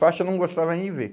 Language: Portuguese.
Faixa eu não gostava nem de ver.